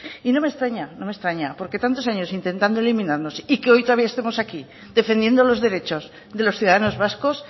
y no me extraña porque tantos años intentando eliminarnos y que hoy todavía estemos aquí defendiendo los derechos de los ciudadanos vascos